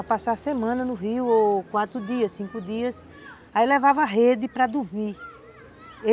Para passar a semana no rio, ou quatro dias, cinco dias, aí levava a rede para dormir.